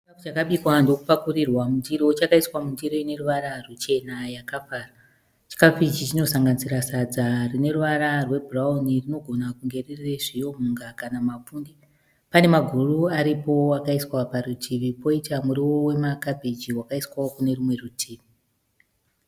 Chikafu chakabikwa ndokupakurirwa mundiro, chakaiswa mundiro ineruvara ruchena yakafara. Chikafu ichi chinosanganisira sadza rine ruvara rwebhurauni rinogona kunge riri rezviyo, mhunga kana mapfunde. Pane maguru aripowo akaiswa parutivi, poita muriwo wemakhabhiji wakaiswawo kune rumwe rutivi.